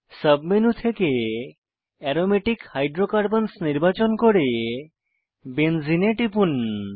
submenu থেকে aromatic হাইড্রোকার্বনসহ নির্বাচন করে বেনজেনে এ টিপুন